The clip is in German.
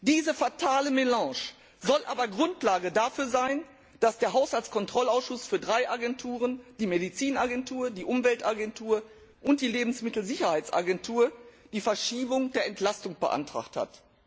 Diese fatale Melange soll aber Grundlage dafür sein, dass der Haushaltskontrollausschuss für drei Agenturen, die Arzneimittelagentur, die Umweltagentur und die Lebensmittelsicherheitsagentur, die Verschiebung der Entlastung beantragt hat.